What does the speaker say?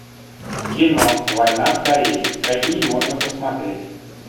кино война в корее какие можно посмотреть